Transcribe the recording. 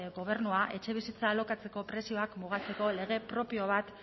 gobernua etxebizitza alokatzeko prezioak mugatzeko lege propio bat